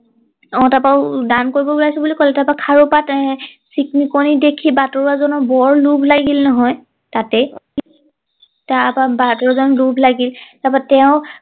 অ তাৰ পৰা দান কৰিবলৈ ওলাইছো বুলি কলে তাৰ পৰা খাৰু পাত আহ চিক মিকনি দেখি বাটৰোৱা জনৰ বৰ লোভ লাগিল নহয় তাতেই তাৰ পৰা বাঘেও যেন লোভ লাগিল তাৰ পৰা তেওঁ